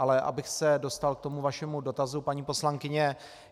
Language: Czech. Ale abych se dostal k tomu vašemu dotazu, paní poslankyně.